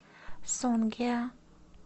сонгеа